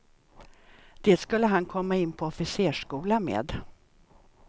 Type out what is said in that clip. Det skulle han komma in på officersskola med.